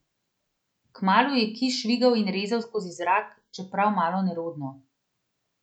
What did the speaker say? Kmalu je kij švigal in rezal skozi zrak, čeprav malo nerodno.